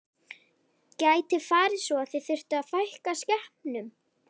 Gæti farið svo að þið þyrftuð að fækka skepnum?